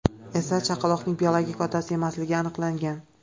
esa chaqaloqning biologik otasi emasligi aniqlangan.